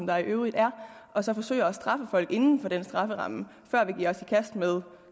der i øvrigt er og så forsøger at straffe folk inden for den strafferamme før vi giver os i kast med